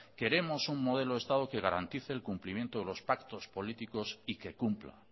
queremos un modelo de estado que garantice el cumplimiento de los pactos políticos y que cumpla